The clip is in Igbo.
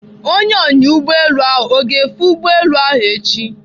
Onye ọnya ụgbọelu ahụ ọ ga-efe ụgbọelu ahụ echi?